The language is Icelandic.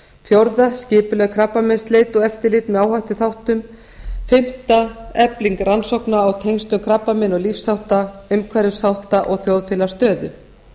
fjórða skipuleg krabbameinsleit og eftirlit með áhættuþáttum fimmta efling rannsókna á tengslum krabbameina og lífshátta umhverfisþátta og þjóðfélagsstöðu